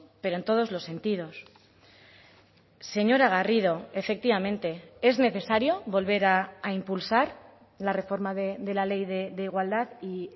pero en todos los sentidos señora garrido efectivamente es necesario volver a impulsar la reforma de la ley de igualdad y